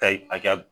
Kayi a ka